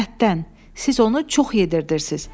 Siz onu çox yedirdirsiz.